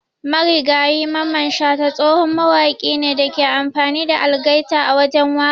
Marigayi Mamman shata tsohon mawaki ne Dake amfani da algaita a wajen waka.